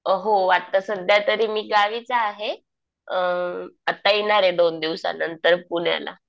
हो आता सध्यातरी मी गावीच आहे. अ आता येणार आहे दोन दिवसानंतर पुण्याला.